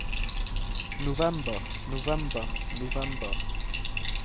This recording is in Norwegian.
november november november